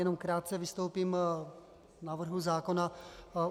Jenom krátce vystoupím k návrhu zákona.